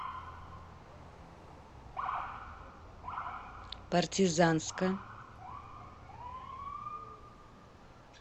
партизанска